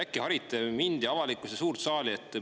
Äkki harite mind, avalikkust ja suurt saali?